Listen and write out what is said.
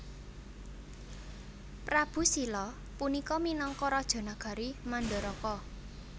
Prabu Slya punika minangka raja nagari Mandaraka